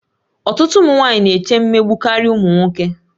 Ọtụtụ ụmụ nwanyị na-eche mmegbu karịa ụmụ nwoke